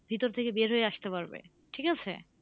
ভিতর থেকে বের হয়ে আসতে পারবে ঠিক আছে?